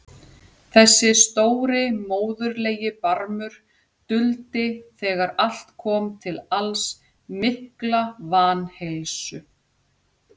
Þessi stóri móðurlegi barmur duldi þegar allt kom til alls mikla vanheilsu.